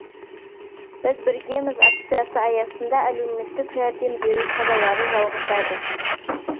біз біргеміз акциясы аясында әлеуметтік жәрдем беру шаралары жалғасады